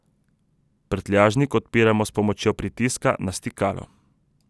Prtljažnik odpiramo s pomočjo pritiska na stikalo.